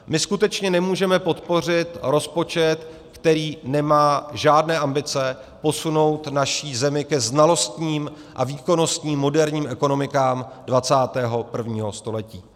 My skutečně nemůžeme podpořit rozpočet, který nemá žádné ambice posunout naši zemi ke znalostním a výkonnostním moderním ekonomikám 21. století.